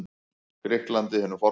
Grikklandi hinu forna.